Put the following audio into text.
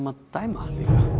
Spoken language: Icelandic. að dæma